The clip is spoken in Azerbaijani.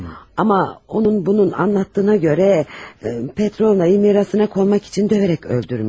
Amma onun bunun dediyinə görə Petrovna'nı mirasına sahib olmaq üçün döyərək öldürmüş.